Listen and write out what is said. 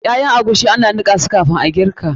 Ƴaƴan agushi ana nika su kafin girki.